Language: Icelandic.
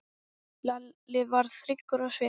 Lalli varð hryggur á svip.